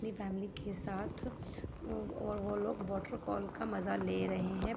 अपनी फॅमिली के साथ वोलोग वॉटरफॉल का मजा ले रहे हैं।